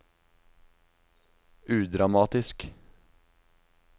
udramatisk